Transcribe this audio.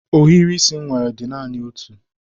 Ohiri isi m nwere dị naani otu